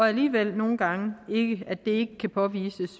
alligevel nogle gange ikke kan påvises